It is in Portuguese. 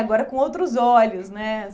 Agora com outros olhos, né?